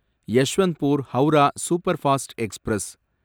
Yesvantpur Howrah superfast express